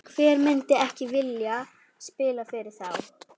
Hver myndi ekki vilja spila fyrir þá?